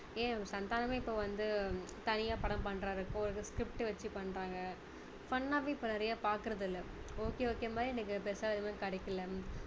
ஏன் சந்தானமே இப்போ வந்து தனியா படம் பண்றாரு இப்போ இது script வச்சு பண்றாங்க fun னாவே இப்போ நிறைய பார்க்கிறது இல்ல okay okay மாதிரி இன்னைக்கு பெருசா எதுவுமே கிடைக்கல